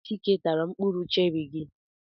Ọ bụ Chike tara mkpụrụ cherị gị.